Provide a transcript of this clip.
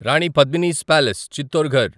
రాని పద్మిని'స్ పాలేస్ చిత్తోర్ఘర్